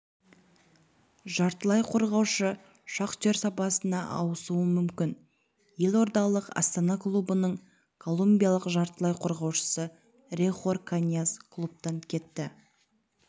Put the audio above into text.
жартылай қорғаушы шахтер сапына ауысуы мүмкін елордалық астана клубының колумбиялық жартылай қорғаушысы рохер каньяс клубтан кетті